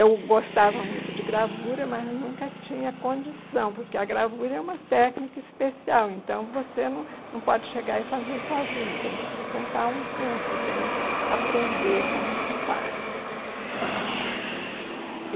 Eu gostava muito de gravura, mas nunca tinha condição, porque a gravura é uma técnica especial, então você não não pode chegar e fazer sozinha, tem que frequentar um curso, tem que aprender como se faz. E